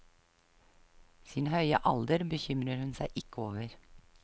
Sin høye alder bekymrer hun seg ikke over.